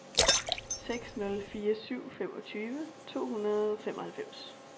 seks nul fire syv femogtyve to hundrede og femoghalvfems